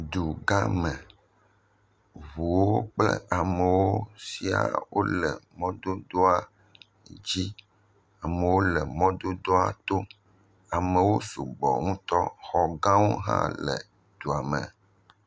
Dugãme. Ŋuwo kple amewo sɛ̃a le mɔdodoa dzi. Amewo le mɔdodoa to. Amewo sugbɔ ŋutɔ, xɔgãwo hã le edua me.